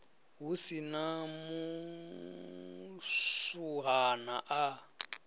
hu si na muswuhana a